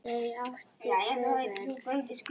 Þau áttu tvö börn.